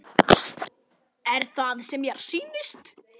Er það sem mér sýnist?